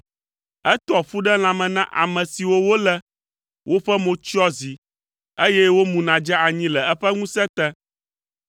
Etoa ƒu ɖe lãme na ame siwo wòlé, woƒe mo tsyɔa zi, eye womuna dzea anyi le eƒe ŋusẽ te.